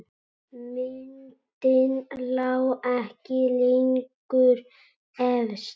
Myndin lá ekki lengur efst.